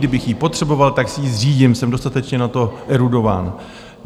Kdybych ji potřeboval, tak si ji zřídím, jsem dostatečně na to erudován.